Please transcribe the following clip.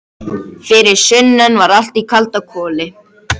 Það er eins og braki í röddinni.